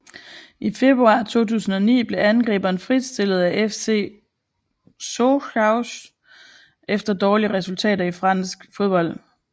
I februar 2009 blev angriberen fristillet af FC Sochaux efter dårlige resultater i fransk fodbold